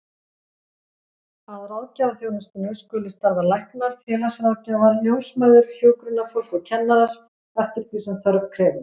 Að ráðgjafaþjónustunni skulu starfa læknar, félagsráðgjafar, ljósmæður, hjúkrunarfólk og kennarar, eftir því sem þörf krefur.